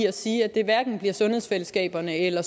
og sige at det hverken bliver i sundhedsfællesskaberne eller